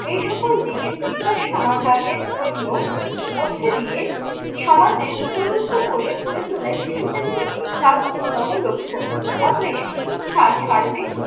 এই সকল দিকের বিকাশ সমাধানের জন্য মধ্য দিয়ে সমাজের উপযুক্ত করে গড়ে তোলায় শিশু কেন্দ্রিক শিক্ষার অন্যতম লক্ষ্য। অতএব শিক্ষার সার্বিক